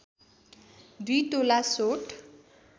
२ तोला सोंठ